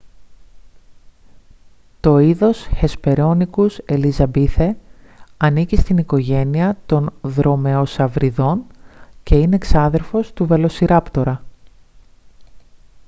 το είδος hesperonychus elizabethae ανήκει στην οικογένεια των δρομεοσαυριδών και είναι ξάδερφος του βελοσιράπτορα